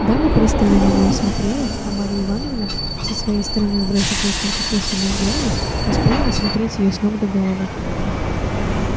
дама пристально на неё смотрела а марья ивановна со своей стороны бросив несколько косвенных взглядов успела рассмотреть её с ног до головы